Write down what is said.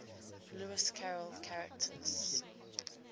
lewis carroll characters